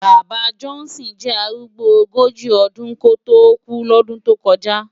Baba Johnson jè árúgbó ógóji ódún kótó kú lòdún tó kòjá